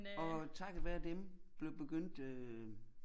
Og takket være dem blev begyndte øh